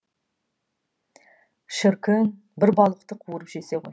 шіркін бір балықты қуырып жесе ғой